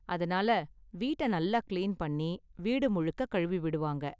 அதனால வீட்டை நல்லா கிளீன் பண்ணி, வீடு முழுக்க கழுவி விடுவாங்க.